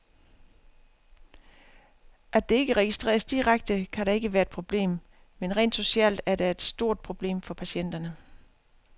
At det ikke registreres direkte, kan da ikke være et problem, men rent socialt er det et stort problem for patienterne.